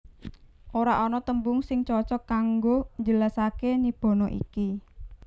Ora ana tembung sing cocok kanggo njelasaké Nibbana iki